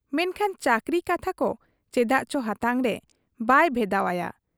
ᱢᱮᱱᱠᱷᱟᱱ ᱪᱟᱹᱠᱨᱤ ᱠᱟᱛᱷᱟᱠᱚ ᱪᱮᱫᱟᱜ ᱪᱚ ᱦᱟᱛᱟᱝᱨᱮ ᱵᱟᱭ ᱵᱷᱮᱫᱟᱣ ᱟᱭᱟ ᱾